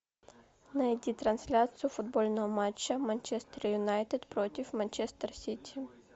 найди трансляцию футбольного матча манчестер юнайтед против манчестер сити